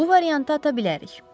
Bu variantı ata bilərik.